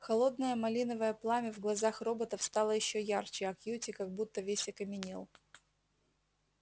холодное малиновое пламя в глазах роботов стало ещё ярче а кьюти как будто весь окаменел